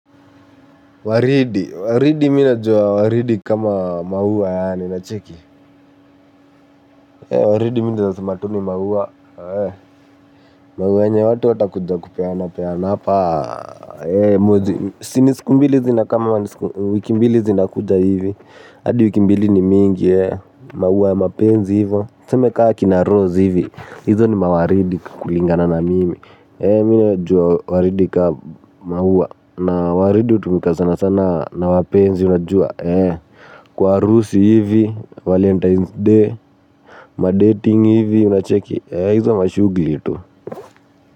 Waridi. Waridi mi najua waridi kama mauwa yani unacheki. Waridi mi naezasema tu ni maua. Maua yenye watu watakuja kupeana peana. Hapa mwezi. Sini siku mbili zina kama wiki mbili zina kuja hivi. Hadi wiki mbili ni mingi. Maua ya mapenzi hivo. Tuseme kaa akina rose hivi. Hizo ni mawaridi kulingana na mimi. Mi najua waridi kama maua. Na waridi utumika sana sana na wapenzi. Unajua eh kwa harusi hivi valentine's day madating hivi unacheki eh hizo mashughuli tu.